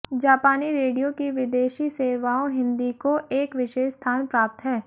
जापानी रेडियो की विदेशी सेवाओं हिन्दी को एक विशेष स्थान प्राप्त है